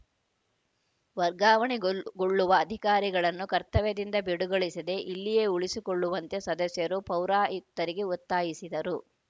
ವರ್ಗಾವಣೆಗೊಳ್ ಗೊಳ್ಳುವ ಅಧಿಕಾರಿಗಳನ್ನು ಕರ್ತವ್ಯದಿಂದ ಬಿಡುಗೊಳಿಸದೆ ಇಲ್ಲಿಯೇ ಉಳಿಸಿಕೊಳ್ಳುವಂತೆ ಸದಸ್ಯರು ಪೌರಾಯುಕ್ತರಿಗೆ ಒತ್ತಾಯಿಸಿದರು